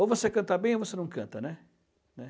Ou você canta bem ou você não canta, né? Né?